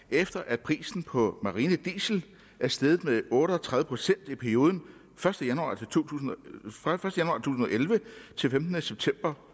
efter at prisen på marinediesel er steget med otte og tredive procent i perioden første januar to tusind og elleve til femtende september